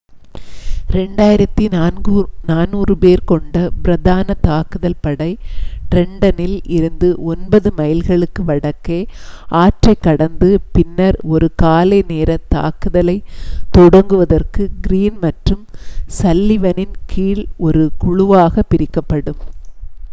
2,400 பேர் கொண்ட பிரதான தாக்குதல் படை ட்ரென்ட்டனில் இருந்து ஒன்பது மைல்களுக்கு வடக்கே ஆற்றைக் கடந்து பின்னர் ஒரு காலை நேரத் தாக்குதலைத் தொடங்குவதற்கு கிரீன் மற்றும் சல்லிவனின் கீழ் ஒரு குழுவாகப் பிரிக்கப்படும்